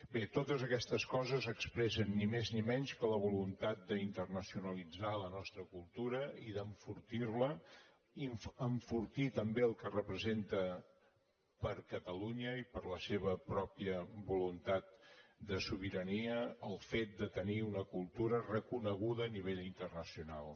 bé totes aquestes coses expressen ni més ni menys que la voluntat d’internacionalitzar la nostra cultura i d’enfortir la enfortir també el que representa per a catalunya i per a la seva pròpia voluntat de sobirania el fet de tenir una cultura reconeguda a nivell internacional